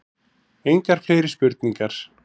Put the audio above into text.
Engar fleiri spurningar.